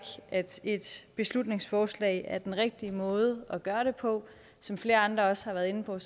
at et beslutningsforslag er den rigtige måde at gøre det på som flere andre også har været inde på